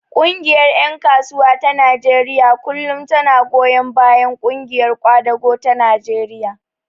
Ƙungiyar ƴan kasuwa ta Najeriya kullum tana goyon bayan ƙungiyar ƙwadago ta Najeriya.